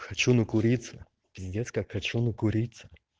хочу накуриться пиздец как хочу накуриться